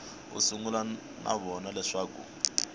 a sungula no vona leswaku